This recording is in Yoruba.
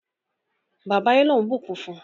bàbà Elon bukún fún